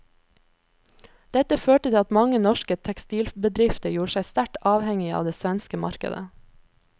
Dette førte til at mange norske tekstilbedrifter gjorde seg sterkt avhengige av det svenske markedet.